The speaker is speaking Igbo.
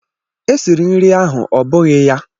E siri nri ahụ, ọ́ bụghị ya?